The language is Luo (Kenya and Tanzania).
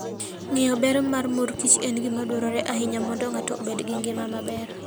Ng'eyo ber mar mor kich en gima dwarore ahinya mondo ng'ato obed gi ngima maber.